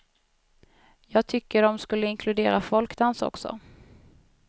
Jag tycker de skulle inkludera folkdans också.